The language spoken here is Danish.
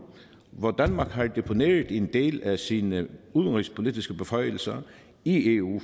hvor danmark har deponeret en del af sine udenrigspolitiske beføjelser i eu